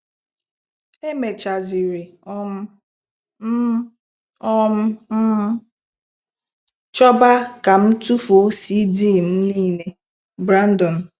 E mèchàziri um m um m chọba ka m tụfuo CD m niile! "- Brandon.